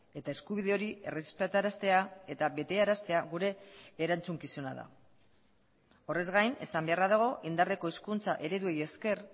eta eskubide hori errespetaraztea eta betearaztea gure erantzukizuna da horrez gain esan beharra dago indarreko hizkuntza ereduei esker